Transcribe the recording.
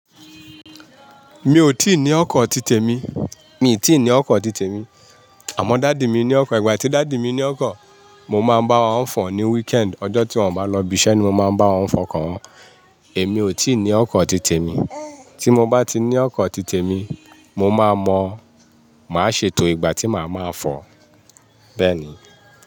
Mi ò tíì ní ọkọ̀ titẹ mi, mi ò tíì ní ọkọ̀ titẹ mi. Àmọ́ daddy mi ní ọkọ̀, ìgbà tí daddy mi ní ọkọ̀, mo máa ń bá wọn fọ̀ ní weekend. Ọjọ́ tí wọ́n bá lọ ibiṣẹ́ ni mo máa ń bá wọn fọ̀ oko wọ́n. Èmi ò tí ì ní ọkọ̀ titẹ mi. Tí mo bá ti ní ọkọ̀ titẹ mi, mo máa mọ̀, màá ṣètò ìgbà tí màá máa fọ̀, bẹ́ẹ̀ ni.